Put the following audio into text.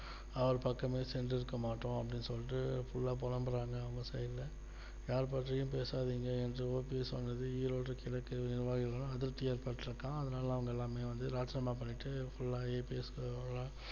அவர் பக்கமே சென்று இருக்க மாட்டோம் அப்படின்னு சொல்லிட்டு full லா புலம்புறாங்க அந்த side யார் பற்றியும் பேசாதீங்க என்று OPS சொன்னது ஈரோடு கிழக்கு நிர்வாகிகள்ளா அதிர்ச்சி ஏற்பட்டு இருக்கா அதனால எல்லாமே வந்து ராஜினாமா பண்ணிட்டு full லா EPS